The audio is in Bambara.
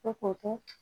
Ko k'o to